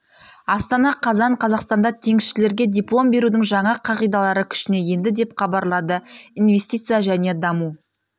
астана қазан қазақстанда теңізшілерге диплом берудің жаңа қағидалары күшіне енді деп хабарлады инвестиция және даму